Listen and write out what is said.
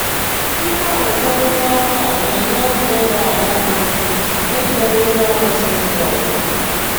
Mgbanwekọrịta ọrụ a na-enye aka ịrụ ala dị ukwu na-egoghị ndị ọrụ si ebe ọzọ